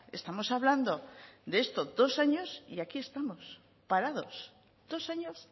estamos hablando de esto dos años y aquí estamos parados dos años